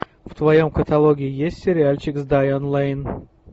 в твоем каталоге есть сериальчик с дайан лейн